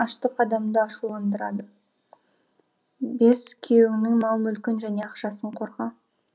аштық адамды ашуландырады бес күйеуіңнің мал мүлкін және ақшасын қорға